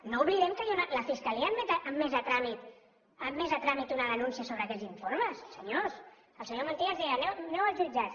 no oblidem que la fiscalia ha admès a tràmit una denúncia sobre aquests informes senyors el senyor montilla ens deia aneu als jutjats